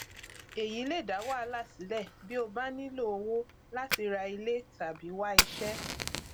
èyí lè dá wàhálà sílẹ bí o bá nílò owó láti ra ilé tàbí wá iṣẹ